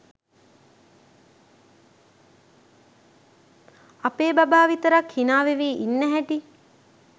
අපේ බබා විතරක් හිනා වෙවී ඉන්න හැටි.